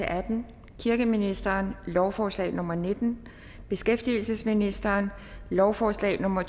atten kirkeministeren lovforslag nummer l nitten beskæftigelsesministeren lovforslag nummer